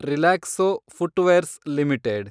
Relaxo footwears limited